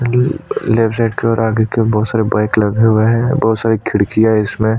leopard side की और आगे की और बहुत सारे बाइक लगी हुए हैं बहुत सारी खिड़कियां है इसमें--